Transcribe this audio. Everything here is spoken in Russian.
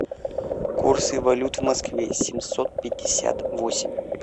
курсы валют в москве семьсот пятьдесят восемь